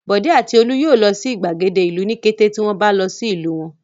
Bọ̀dé àti Olú yóò lọ sí ìgbàgede ìlú ní kété tí wọ́n bá lọ ìlú wọn.